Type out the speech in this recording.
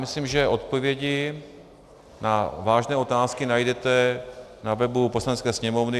Myslím, že odpovědi na vážné otázky najdete na webu Poslanecké sněmovny.